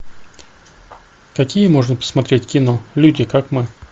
какие можно посмотреть кино люди как мы